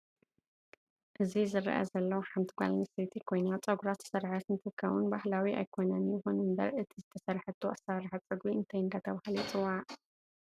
አዚ ዝርአ ዘሎ ሓንቲ ጋልኣንስተይቲ ኮይና ፅጉራ ዝተሰርሕት እንትትከውን በህላዊ ኣይኮነን ይኩን እንንበር እቲ ዝተሰርሐቶ ኣሰራርሓ ፀጉሪ እንታይ እዳተበሃለ ይፅዋዕ?